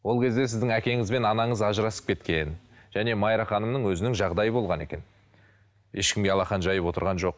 ол кезде сіздің әкеңіз бен анаңыз ажырасып кеткен және майра ханымның өзінің жағдайы болған екен ешкімге алақан жайып отырған жоқ